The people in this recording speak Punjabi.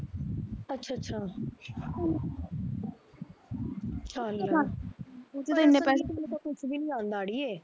ਅੱਛਾ ਅੱਛਾ ਚੱਲ ਉਥੇ ਤਾ ਇਨੇ ਪੈਸੇ ਵਿੱਚ ਕੁਛ ਵੀ ਨੀ ਆਉਂਦਾ ਅੜੀਏ